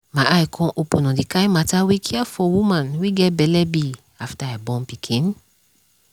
my eye come open on the kind mata wey care for woman wey get belle be after i born pikin